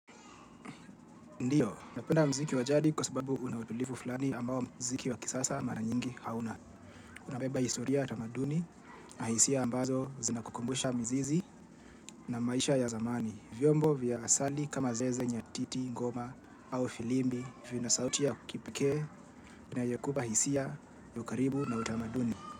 Ndio, napenda mziki wa jadi kwa sababu una utulivu flani ambao mziki wa kisasa mara nyingi hauna. Unabeba historia tamaduni na hisia ambazo zinakukumbusha mzizi na maisha ya zamani. Vyombo vya asali kama zeze nyatiti, ngoma au filimbi vinasauti ya kipekee na yenye kupa hisia ya ukaribu na utamaduni.